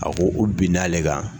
A ko u bin na ale kan.